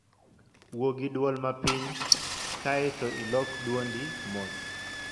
Wuo gi dwol mapiny, kae to ilok dwondi mos